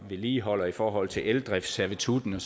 vedligeholder i forhold til eldriftsservitutten